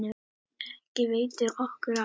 Ekki veitir okkur af.